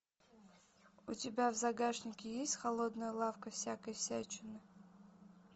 у тебя в загашнике есть холодная лавка всякой всячины